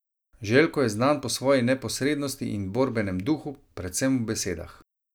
Željko je znan po svoji neposrednosti in borbenem duhu, predvsem v besedah.